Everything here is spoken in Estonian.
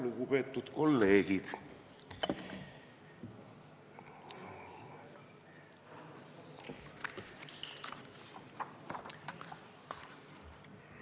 Lugupeetud kolleegid!